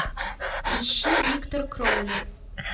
ищи виктор кроули